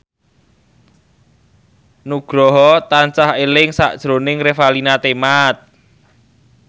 Nugroho tansah eling sakjroning Revalina Temat